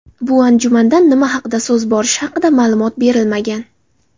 Bu anjumandan nima haqida so‘z borishi haqida ma’lumot berilmagan.